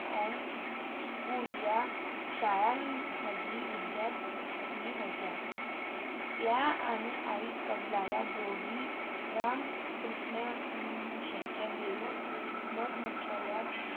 अ school या शाळांमधे विद्यापिका होते त्या आणि आई कमला या दोघी रामकृष्ण मिशनच्या मुख्यालय